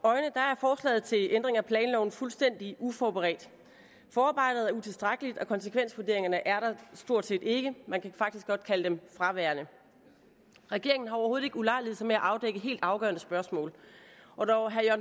i til ændring af planloven fuldstændig uforberedt forarbejdet er utilstrækkeligt og konsekvensvurderingerne er der stort set ikke man kan faktisk godt kalde dem fraværende regeringen har overhovedet ikke ulejliget sig med at afdække helt afgørende spørgsmål og når herre